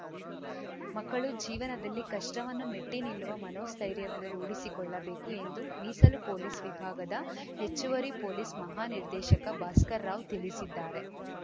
ಮಕ್ಕಳು ಜೀವನದಲ್ಲಿ ಕಷ್ಟವನ್ನು ಮೆಟ್ಟಿನಿಲ್ಲುವ ಮನೋಸ್ಥೈರ್ಯವನ್ನು ರೂಢಿಸಿಕೊಳ್ಳಬೇಕು ಎಂದು ಮೀಸಲು ಪೊಲೀಸ್‌ ವಿಭಾಗದ ಹೆಚ್ಚುವರಿ ಪೊಲೀಸ್‌ ಮಹಾ ನಿರ್ದೇಶಕ ಭಾಸ್ಕರ್‌ ರಾವ್‌ ತಿಳಿಸಿದ್ದಾರೆ